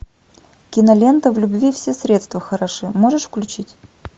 кинолента в любви все средства хороши можешь включить